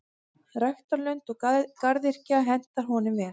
Ræktarlönd og garðyrkja henta honum vel.